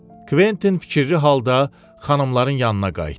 Kventin fikirli halda xanımların yanına qayıtdı.